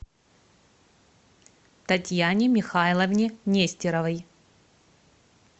татьяне михайловне нестеровой